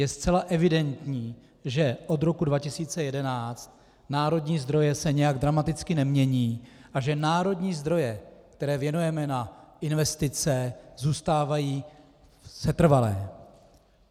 Je zcela evidentní, že od roku 2011 národní zdroje se nějak dramaticky nemění a že národní zdroje, které věnujeme na investice, zůstávají setrvalé.